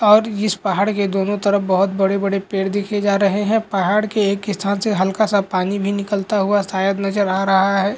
और इस पहाड़ एक दोनो तरफ बहुत बड़े-बड़े पेड़ देखे जा रहे है पहाड़ के एक स्थान से हल्का सा पानी भी निकलता हुआ शायद नजर आ रहा है।